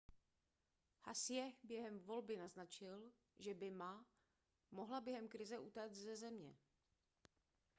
hsieh během volby naznačil že by ma mohla během krize utéct ze země